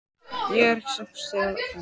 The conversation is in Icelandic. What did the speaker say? Ég fer ekki fet sagði Stefán kokhraustur.